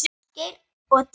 Ásgeir og Díana.